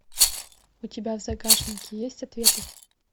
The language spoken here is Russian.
у тебя в загашнике есть ответы